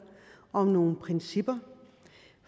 om nogle principper